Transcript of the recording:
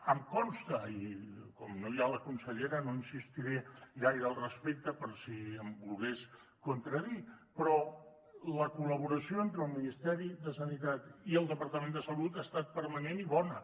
em consta i com no hi ha la consellera no insistiré gaire al respecte per si em volgués contradir però la col·laboració entre el ministeri de sanitat i el departament de salut ha estat permanent i bona